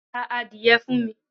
Ra adìye fun mi